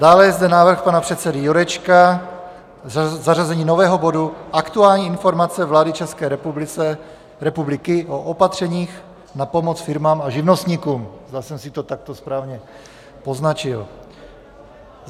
Dále je zde návrh pana předsedy Jurečky, zařazení nového bodu Aktuální informace vlády České republiky o opatřeních na pomoc firmám a živnostníkům, zda jsem si to takto správně poznačil.